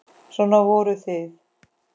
Svona voruð þið.